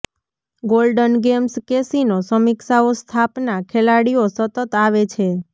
golden games casino સમીક્ષાઓ સ્થાપના ખેલાડીઓ સતત આવે છે